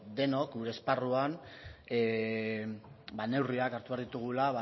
denok gure esparruan neurriak hartu behar ditugula